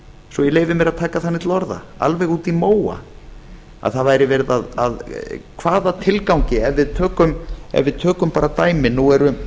svo ég leyfi mér að taka þannig til orða alveg út í móa hvaða tilgangi ef við tökum bara dæmi